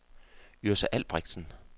Yrsa Albrechtsen